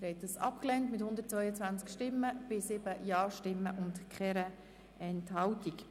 Sie haben den Rückweisungsantrag mit 7 Ja- gegen 122 Nein-Stimmen abgelehnt.